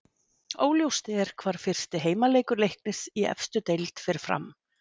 Óljóst er hvar fyrsti heimaleikur Leiknis í efstu deild fer fram.